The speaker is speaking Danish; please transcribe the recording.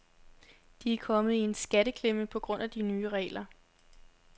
De er kommet i en skatteklemme på grund af de nye regler.